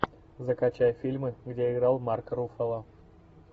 закачай фильмы где играл марк руффало